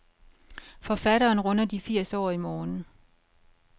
Forfatteren runder de firs år i morgen.